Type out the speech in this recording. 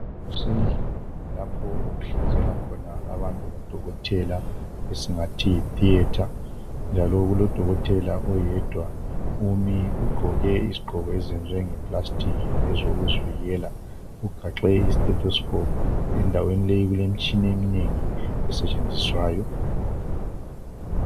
Endlini lapho okuhlinzelwa khona abantu ngudokotela esingathi yitheatre njalo kulodokotela oyedwa umi ugqoke izigqoko eziyenziwe ngeplastic ezokuzivikela ugaxe istethoscope endaweni leyi kulemitshina einengi esetshenziswayo.